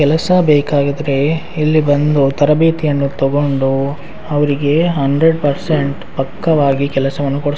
ಕೆಲಸ ಬೇಕಾಗಿದ್ರೆ ಇಲ್ಲಿ ಬಂದು ತರಭೇತಿಯನ್ನು ತಗೊಂಡು ಅವ್ರಿಗೆ ಹಂಡ್ರೇಡ್ ಪರ್ಸೆಂಟ್ ಪಕ್ಕಾದಾಗಿ ಕೆಲಸವನ್ನು ಕೊಡ್ಸ್ --